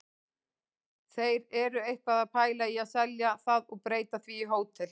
Þeir eru eitthvað að pæla í að selja það og breyta því í hótel.